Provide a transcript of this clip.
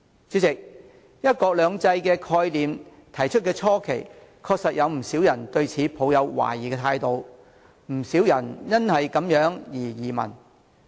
主席，提出"一國兩制"概念的初期，確實有不少人對此抱有懷疑，不少人因而移民。